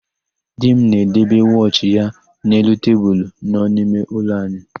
Di m na-edebe wọchị ya n'elu tebulu nọ n'ime ụlọ anyị.